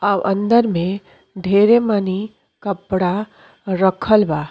और अंदर में ढेरे मानी कपड़ा रखल बा।